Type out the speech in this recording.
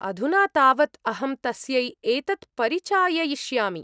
अधुना तावत् अहं तस्यै एतत् परिचाययिष्यामि।